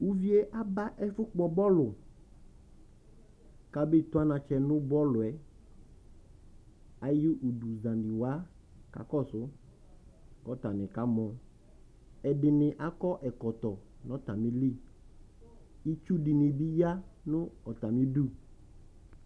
Uvi yɛ aba ɛfʋkpɔ bɔlʋ Kʋ abetʋ anatsɛ nʋ bɔlʋ yɛ Ayʋ uduzanɩ wa kakɔsʋ, kʋ atanɩ kamɔ Ɛdɩnɩ akɔ ɛkɔtɔ nʋ atamɩli Itsu dɩnɩ bɩ aya nʋ atamɩ idu